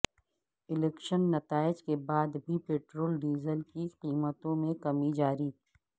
election نتائج کے بعد بھی پیٹرول ڈیزل کی قیمتوں میں کمی جاری